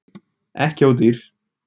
Ekki ódýr